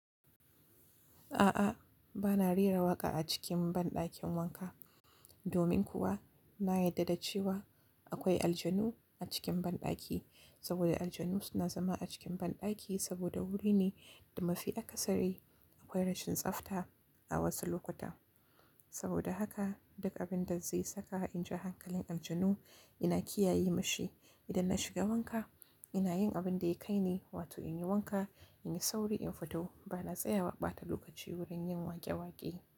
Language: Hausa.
A'a, ba na rera waƙa a cikin banɗakin wanka. Domin kuwa na yarda da cewa akwai aljanu a cikin banɗaki. Saboda aljanu suna zama a cikin banɗaki saboda wuri ne da mafi akasari akwai rashin tsafta a wasu lokuta. Saboda haka duk abin da zai saka in ja hankalin aljanu ina kiyaye mashi. Idan na shiga wanka ina yin abin da ya kai ne, wato in yi wanka, in yi sauri, in fito. Ba na tsayawa ɓata lokaci wurin yin waƙe-waƙe.